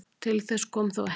Til þess kom þó ekki